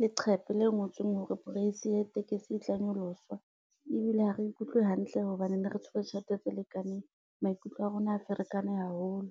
leqhepe le ngotsweng hore price ya tekesi e tla nyoloswa ebile ha re ikutlwe hantle hobane ne re tshwere tjhelete tse lekaneng. Maikutlo a rona a ferekane haholo.